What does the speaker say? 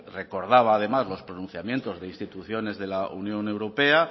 recordaba además los pronunciamientos de instituciones de la unión europea